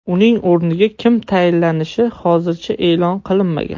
Uning o‘rniga kim tayinlanishi hozircha e’lon qilinmagan.